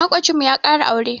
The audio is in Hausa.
Maƙocinmu ya ƙara aure.